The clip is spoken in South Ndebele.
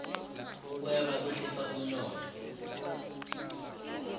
ukweba kwehlisa umnotho